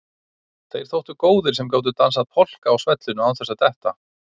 Þeir þóttu góðir sem gátu dansað polka á svellinu án þess að detta.